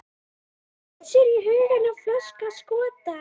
Hann leitaði sér huggunar í flösku af skota.